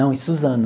Não, em Suzano.